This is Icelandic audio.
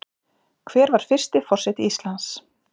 Hver var fyrsti forseti Íslands?